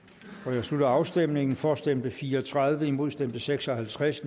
jeg slutter afstemningen for stemte fire og tredive imod stemte seks og halvtreds